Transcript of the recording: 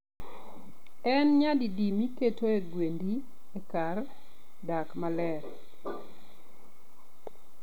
En nyadidi miketoe gwendi e kar dak maler?